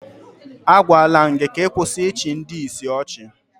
Agwaala m gị ka ị kwụsị ịchị ndị ìsì ọchị